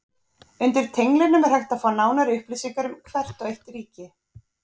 Undir tenglinum er hægt að fá nánari upplýsingar um hvert og eitt ríki.